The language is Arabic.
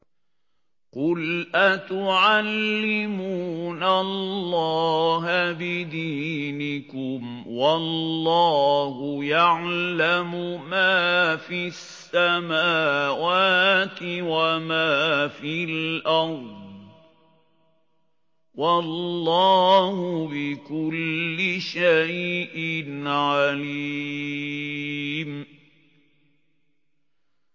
قُلْ أَتُعَلِّمُونَ اللَّهَ بِدِينِكُمْ وَاللَّهُ يَعْلَمُ مَا فِي السَّمَاوَاتِ وَمَا فِي الْأَرْضِ ۚ وَاللَّهُ بِكُلِّ شَيْءٍ عَلِيمٌ